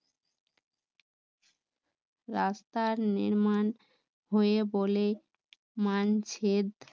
রাস্তার নির্মাণ হয়ে বলে মানছে,